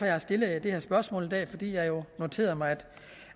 jeg stillet det spørgsmål her i dag fordi jeg jo noterede mig at